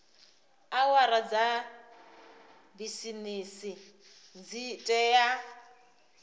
awara dza bisimisi dzi tea